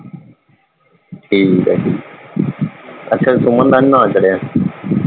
ਠੀਕ ਹੈ ਜੀ ਅੱਛਾ ਸੁਮਨ ਦਾ ਨੀ ਨਾ ਚੜ੍ਹਿਆ।